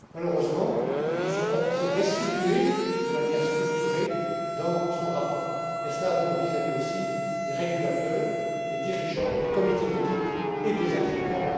Malheureusement, elles ne sont pas toujours restituées de manière structurée dans son rapport. Cela vaut aussi vis à vis des régulateurs, des dirigeants, des comités d'audit et des actionnaires.